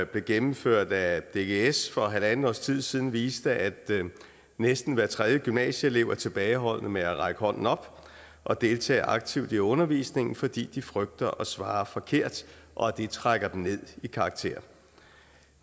blev gennemført af dgs for halvandet år siden siden viste at næsten hver tredje gymnasieelev er tilbageholdende med at række hånden op og deltage aktivt i undervisningen fordi de frygter at svare forkert og at det trækker dem ned i karakter